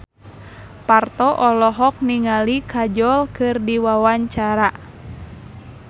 Parto olohok ningali Kajol keur diwawancara